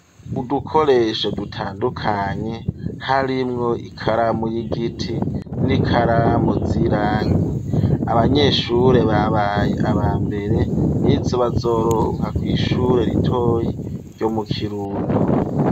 Udukoresho dutandukanye ,harimwo ikaramu y'igiti, n'ikaramu zirangi abanyeshure babaye aba mbere n'izobazoronka ku ishure ritoyi ryo mu kirundo.